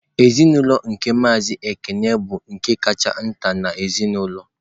Ezinụlọ nke Maazị Ekene bụ nke kacha nta n'ezinaụlọ.